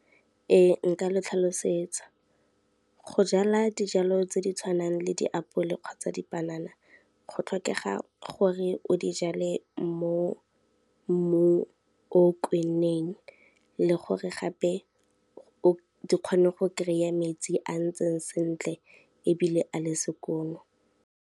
Ee nka le tlhalosetsa. Go jala dijalo tse di tshwanang le diapole kgotsa dipanana, go tlhokega gore o di jale mo mmung o kwenneng le gore gape di kgone go kry-a metsi a ntseng sentle ebile a le sekono.